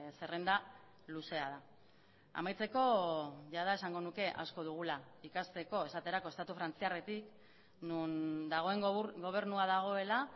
zerrenda luzea da amaitzeko jada esango nuke asko dugula ikasteko esaterako estatu frantziarretik non dagoen gobernua dagoela